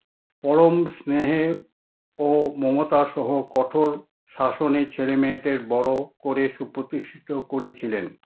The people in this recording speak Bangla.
পরম স্নেহে ও মমতা সহ কঠোর শাসনে ছেলে-মেয়েদের বড় করে সুপ্রতিষ্ঠিত করেছিলেন।